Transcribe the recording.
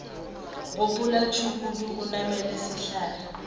gopola tšhukudu o namele sehlare